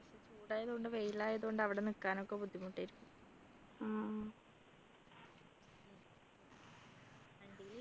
ചൂടായത് കൊണ്ട് വെയിൽ ആയത്കൊണ്ട് അവിടെ നിക്കാനൊക്കെ ബുദ്ധിമുട്ടായിരിക്കും